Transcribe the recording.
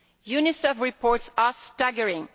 UNICEF reports are staggering